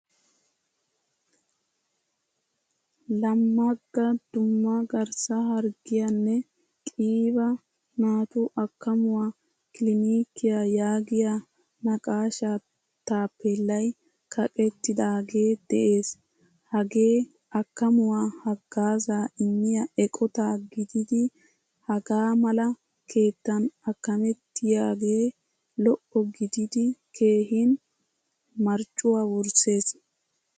Lammaga dumma garssa harghiyaanne qiiba naatu akkamuwaa kilinikiya yaagiyaa naqqashsha taappelay kaqqetidagee de'ees. Hagee akkamuwaa haggazza immiyaa eqqota gididi hagaa mala keettan akametiyoge lo''o gidid keehin marccuwaa wurssees.